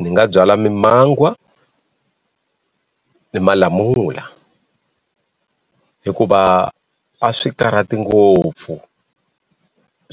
Ni nga byala mimangwa ni malamula hikuva a swi karhati ngopfu